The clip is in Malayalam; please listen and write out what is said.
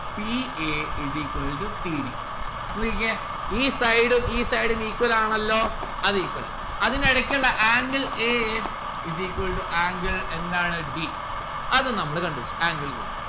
p a is equal to p d നോക്കിക്കേ ഈ side ഉം ഈ side ഉം equal ആണല്ലോ അത് equal ആ അതിനിടക്കുള്ള angle a is equal to angle എന്താണ് d അതും നമ്മള് കണ്ടുപിടിച്ചു angle d